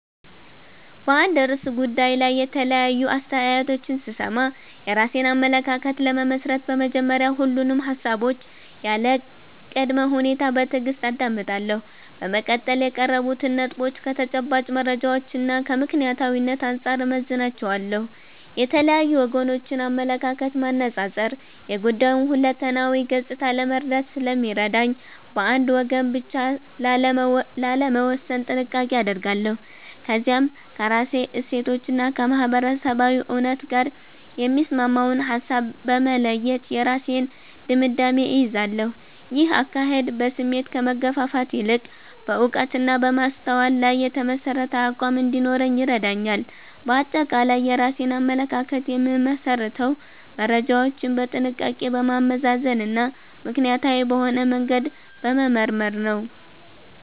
በአንድ ርዕሰ ጉዳይ ላይ የተለያዩ አስተያየቶችን ስሰማ፣ የራሴን አመለካከት ለመመስረት በመጀመሪያ ሁሉንም ሃሳቦች ያለ ቅድመ ሁኔታ በትዕግስት አዳምጣለሁ። በመቀጠል የቀረቡትን ነጥቦች ከተጨባጭ መረጃዎችና ከምክንያታዊነት አንጻር እመዝናቸዋለሁ። የተለያዩ ወገኖችን አመለካከት ማነጻጸር የጉዳዩን ሁለንተናዊ ገጽታ ለመረዳት ስለሚረዳኝ፣ በአንድ ወገን ብቻ ላለመወሰን ጥንቃቄ አደርጋለሁ። ከዚያም ከራሴ እሴቶችና ከማህበረሰባዊ እውነት ጋር የሚስማማውን ሃሳብ በመለየት የራሴን ድምዳሜ እይዛለሁ። ይህ አካሄድ በስሜት ከመገፋፋት ይልቅ በዕውቀትና በማስተዋል ላይ የተመሠረተ አቋም እንዲኖረኝ ይረዳኛል። ባጠቃላይ የራሴን አመለካከት የምመሰርተው መረጃዎችን በጥንቃቄ በማመዛዘንና ምክንያታዊ በሆነ መንገድ በመመርመር ነው።